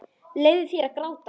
Leyfðu þér að gráta.